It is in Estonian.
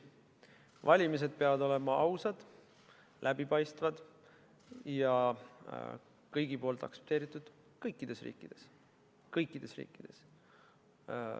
Valimised peavad olema ausad, läbipaistvad ja kõigi aktsepteeritud kõikides riikides.